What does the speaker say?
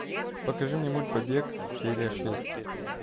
покажи мне мульт побег серия шесть